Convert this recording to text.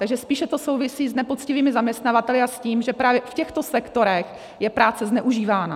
Takže spíše to souvisí s nepoctivými zaměstnavateli a s tím, že právě v těchto sektorech je práce zneužívána.